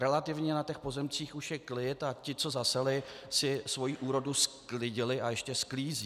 Relativně na těch pozemcích už je klid a ti, co zaseli, si svoji úrodu sklidili a ještě sklízejí.